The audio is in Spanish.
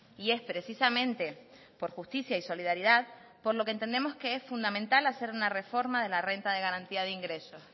y es precisamente por justicia y solidaridad por lo que entendemos que es fundamental hacer una reforma de la renta de garantía de ingresos